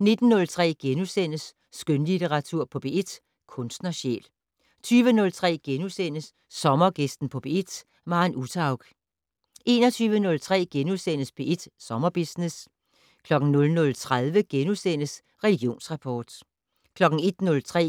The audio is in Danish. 19:03: Skønlitteratur på P1: Kunstnersjæl * 20:03: Sommergæsten på P1: Maren Uthaug * 21:03: P1 Sommerbusiness * 00:30: Religionsrapport * 01:03: